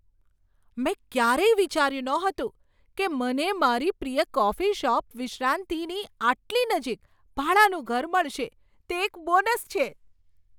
મેં ક્યારેય વિચાર્યું નહોતું કે મને મારી પ્રિય કોફી શોપ વિશ્રાંતિની આટલી નજીક ભાડાનું ઘર મળશે. તે એક બોનસ છે!